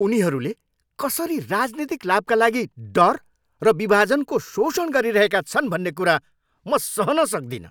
उनीहरूले कसरी राजनीतिक लाभका लागि डर र विभाजनको शोषण गरिरहेका छन् भन्ने कुरा म सहन सक्दिनँ।